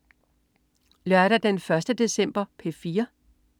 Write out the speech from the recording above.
Lørdag den 1. december - P4: